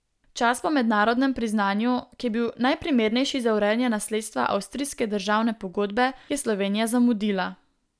Čas po mednarodnem priznanju, ki je bil najprimernejši za urejanje nasledstva avstrijske državne pogodbe, je Slovenija zamudila.